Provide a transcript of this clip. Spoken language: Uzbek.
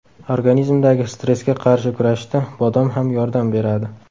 Organizmdagi stressga qarshi kurashishda bodom ham yordam beradi.